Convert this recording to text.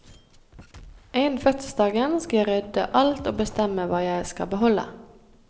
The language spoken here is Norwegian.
Innen fødselsdagen skal jeg rydde alt og bestemme hva jeg skal beholde.